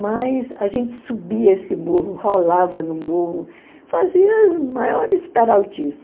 Mas a gente subia esse morro, rolava no morro, fazia as maiores peraltices.